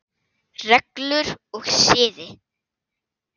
Reglur og siði